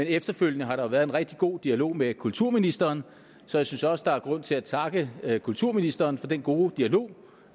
efterfølgende har der været en rigtig god dialog med kulturministeren så jeg synes også der er grund til at takke kulturministeren for den gode dialog